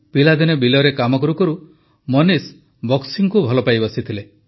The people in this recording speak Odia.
ପିଲାଦିନେ ବିଲରେ କାମ କରୁ କରୁ ମନୀଷ ବକ୍ସିଂକୁ ଭଲ ପାଇ ବସିଥିଲେ